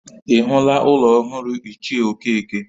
Ị hụla ụlọ ọhụrụ ichie Okeke?